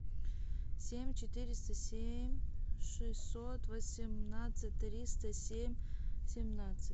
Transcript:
семь четыреста семь шестьсот восемнадцать триста семь семнадцать